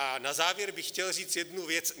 A na závěr bych chtěl říct jednu věc.